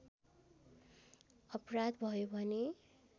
अपराध भयो भने